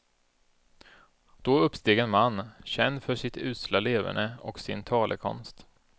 Då uppsteg en man, känd för sitt usla leverne och sin talekonst.